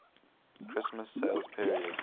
christmas sales period